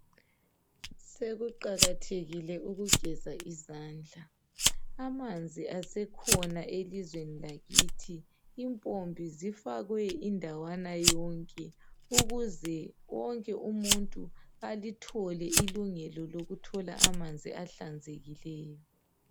sekuqakathekile ukugeza izandla amanzi asekhona elizweni lakithi impompi zifakwe indawana yonke ukuze wonke umuntu alithole ilungelo lokuthola amanzi ahlanzekileyo